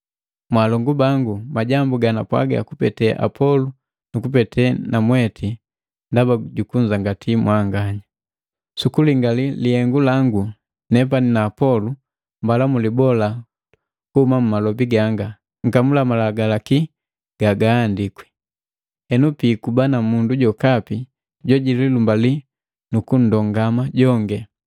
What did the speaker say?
Mwalongu bangu, majambu ganapwaga kupete Apolo nu kupete namweti ndaba jukunzangati mwanganya. Sukulingali lilenganu langu nepani na Apolo mbala mulibola kuhuma mumalobi ganga, “Nkamula Malagalaki gaandiki.” Henu piikuba na mundu jokapi jojililumbali nukundongama jongi.